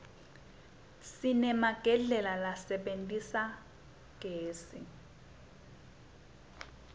sinemagedlela lasebenta ngagezi